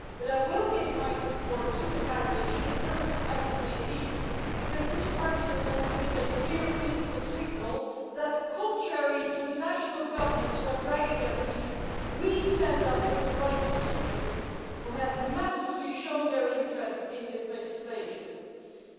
But I will give my support to the package, imperfect as it may be, because this Parliament has to give a clear political signal that contrary to the national governments who are dragging their feet we stand up for the rights of citizens, who have shown their interest in this legislation in a massive way.